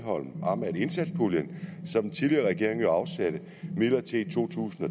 elholm om at indsatspuljen som den tidligere regering jo afsatte midlertidigt i to tusind